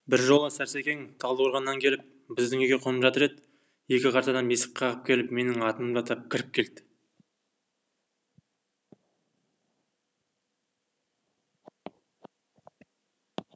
бір жолы сәрсекең талдықорғаннан келіп біздің үйде қонып жатыр еді екі қарт адам есік қағып менің атымды атап кіріп келді